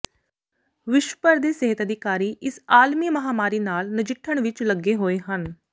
ਵਿਸ਼ਵ ਭਰ ਦੇ ਸਿਹਤ ਅਧਿਕਾਰੀ ਇਸ ਆਲਮੀ ਮਹਾਂਮਾਰੀ ਨਾਲ ਨਜਿੱਠਣ ਵਿੱਚ ਲੱਗੇ ਹੋਏ ਹਨ